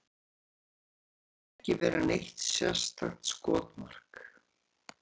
Mér finnst ég ekki vera neitt sérstakt skotmark.